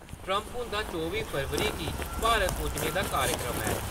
Trump हुंदा चौबी फरवरी गी भारत पुज्जने दा कार्यक्रम ऐ।